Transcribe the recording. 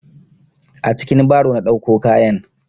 A cikin baro na ɗauko kayan.